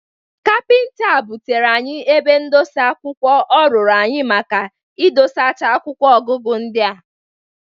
Kapịnta a bụtere anyị ebe ndosa akwụkwọ ọ rụrụ anyị maka idosacha akwụkwọ ọgụgụ ndị a.